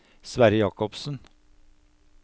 Sverre Jacobsen